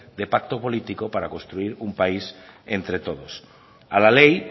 de pacto político para construir un país entre todos a la ley